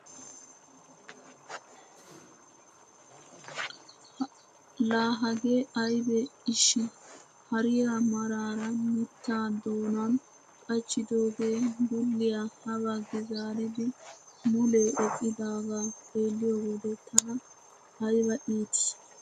La hagee aybee eshi? hariyaa maarara mittaa doonan qachchidooge dulliyaa ha baggi zaaridi mulee eqqidaagaa xeelliyoo wode tana ayba iittii!